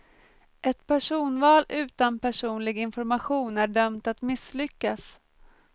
Ett personval utan personlig information är dömt att misslyckas.